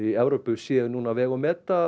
séu núna að vega og meta